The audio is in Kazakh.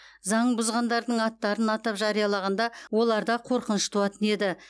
заң бұзғандардың аттарын атап жариялағанда оларда қорқыныш туатын еді